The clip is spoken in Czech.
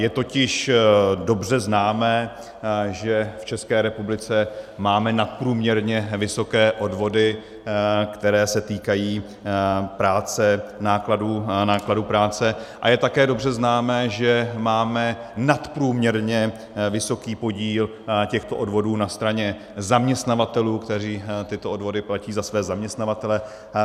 Je totiž dobře známo, že v České republice máme nadprůměrně vysoké odvody, které se týkají práce, nákladů práce, a je také dobře známo, že máme nadprůměrně vysoký podíl těchto odvodů na straně zaměstnavatelů, kteří tyto odvody platí za své zaměstnavatele .